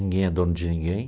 Ninguém é dono de ninguém.